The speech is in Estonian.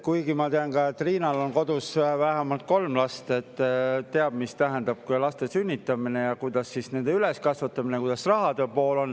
Kuigi ma tean, et Riinal endal on kodus vähemalt kolm last ja ta teab, mida tähendab laste sünnitamine ja kuidas käib nende üleskasvatamine, missugune on rahaline pool.